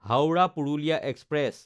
Howrah-Purulia express